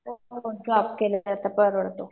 हो जॉब केलं तर परवडतो.